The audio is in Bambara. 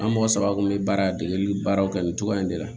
An mɔgɔ saba kun be baara degeli baaraw kɛ nin cogoya in de la